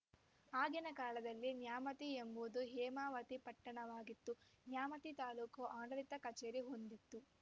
ಆಗಿನ ಕಾಲದಲ್ಲಿ ನ್ಯಾಮತಿ ಎಂಬುದು ಹೇಮಾವತಿ ಪಟ್ಟಣವಾಗಿತ್ತು ನ್ಯಾಮತಿ ತಾಲೂಕು ಆಡಳಿತ ಕಚೇರಿ ಹೊಂದಿತ್ತು